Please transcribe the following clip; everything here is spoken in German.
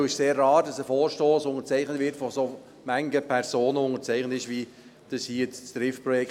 Es ist sehr rar, dass ein Vorstoss von so vielen Personen unterzeichnet wird wie hier bei diesem Triftprojekt.